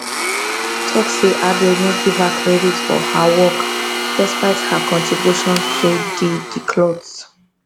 tok say addo no give her credit for her work despite her contribution to di di cloth